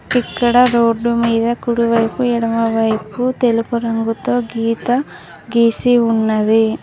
ఇక్కడ రోడ్డు మీద కుడివైపు ఎడమవైపు తెలుపు రంగుతో గీత గీసి ఉన్నది.